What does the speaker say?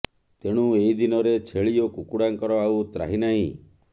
ତେଣୁ ଏହି ଦିନରେ ଛେଳି ଓ କୁକୁଡ଼ାଙ୍କର ଆଉ ତ୍ରାହି ନାହିଁ